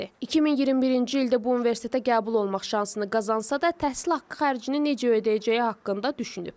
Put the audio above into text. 2021-ci ildə bu universitetə qəbul olmaq şansını qazansa da, təhsil haqqı xərcini necə ödəyəcəyi haqqında düşünüb.